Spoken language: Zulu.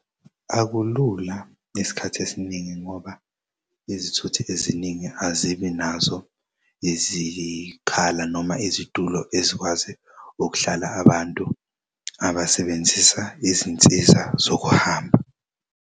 Akulula isikhathi esiningi ngoba izithuthi eziningi azibi nazo izikhala noma izitulo ezikwazi ukuhlala abantu abasebenzisa izinsiza zokuhamba.